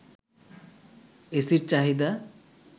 এসির চাহিদা